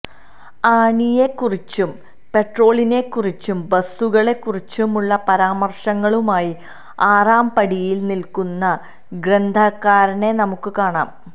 ആണിയെക്കുറിച്ചും പെട്രോളിനെക്കുറിച്ചും ബസ്സുകളെ കുറിച്ചുമുള്ള പരാമർശങ്ങളുമായി ആറാംപടിയിൽ നിൽക്കുന്ന ഗ്രന്ഥകാരനെ നമുക്കു കാണാം